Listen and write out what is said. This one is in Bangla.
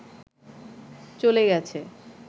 চলে গেছে